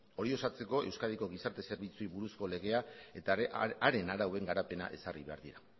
hori ezartzeko euskadiko gizarte zerbitzuei buruzko legea eta haren arauen garapena ezarri behar dira